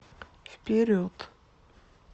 вперед